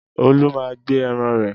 Olú máa ń gbẹ ẹran rẹ̀.